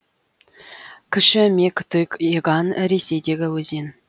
кіші мег тыг еган ресейдегі өзен